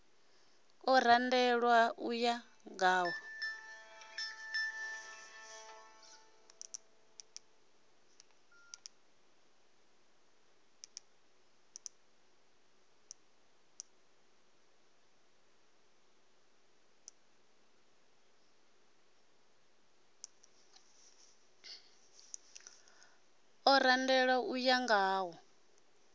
o randelwaho u ya ngawo